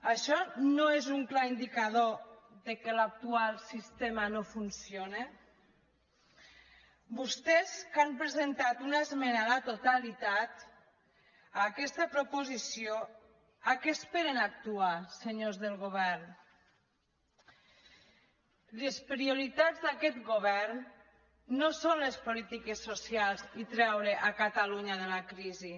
això no és un clar indicador que l’actual sistema no funciona vostès que han presentat una esmena a la totalitat a aquesta proposició què esperen a actuar senyors del govern les prioritats d’aquest govern no són les polítiques socials i treure catalunya de la crisi